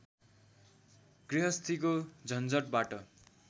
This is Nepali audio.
गृहस्थीको झन्झटबाट